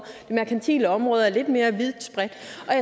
det merkantile område er lidt mere vidtspredt